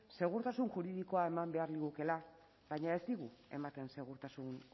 segurtasun juridikoa eman behar ligukeela baina ez digu ematen segurtasun